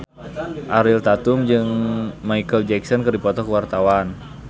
Ariel Tatum jeung Micheal Jackson keur dipoto ku wartawan